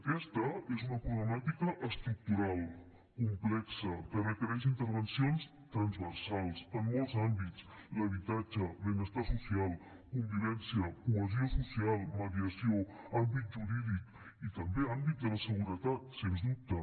aquesta és una problemàtica estructural complexa que requereix intervencions transversals en molts àmbits l’habitatge el benestar social convivència cohesió social mediació àmbit jurídic i també àmbit de la seguretat sens dubte